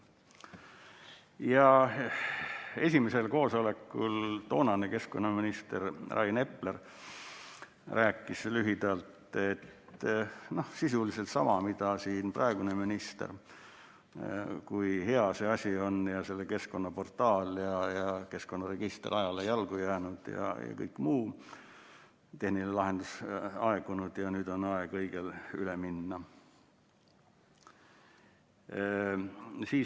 Esimesel koosolekul rääkis toonane keskkonnaminister Rain Epler lühidalt öeldes sisuliselt sama, mida praegune minister: kui hea see keskkonnaportaal on, et keskkonnaregister on ajale jalgu jäänud ja muu tehniline lahendus aegunud ja nüüd on aeg õigele üle minna.